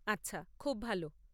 আচ্ছা, খুব ভালো।